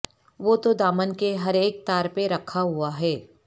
وہ تو دامن کے ہر اک تار پہ رکھا ہوا ہے